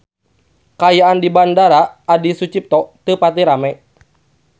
Kaayaan di Bandara Adi Sucipto teu pati rame